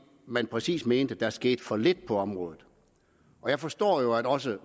man præcis mente at der skete for lidt på området og jeg forstår jo at også